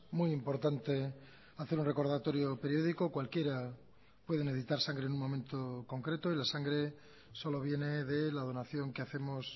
muy importante hacer un recordatorio periódico cualquiera puede necesitar sangre en un momento concreto y la sangre solo viene de la donación que hacemos